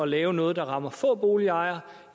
lave noget der rammer få boligejere